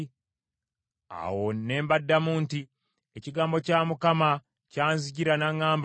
Awo ne mbaddamu nti, “Ekigambo kya Mukama kyanzijira n’aŋŋamba nti,